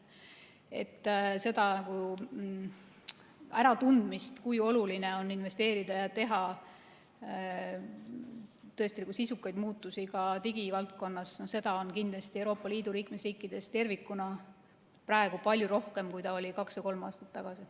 Nii et kindlasti seda äratundmist, kui oluline on investeerida ja teha tõesti sisukaid muutusi ka digivaldkonnas, on Euroopa Liidu liikmesriikides tervikuna praegu palju rohkem, kui oli kaks või kolm aastat tagasi.